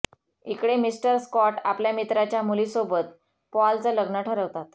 इकडे mister Scott आपल्या मित्राच्या मुली सोबत पॉल चं लग्न ठरवतात